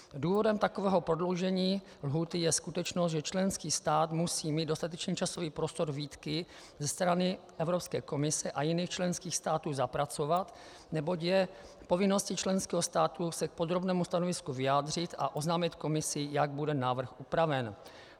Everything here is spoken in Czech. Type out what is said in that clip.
Důvodem takového prodloužení lhůty je skutečnost, že členský stát musí mít dostatečný časový prostor výtky ze strany Evropské komise a jiných členských států zapracovat, neboť je povinností členského státu se k podrobnému stanovisku vyjádřit a oznámit Komisi, jak bude návrh upraven.